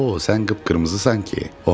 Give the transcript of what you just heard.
O, sən qıpqırmızısan ki.